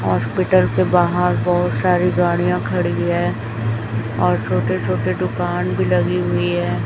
Hospital के बाहर बहोत सारी गाड़ियां खड़ी है और छोटे छोटे दुकान भी लगी हुई है।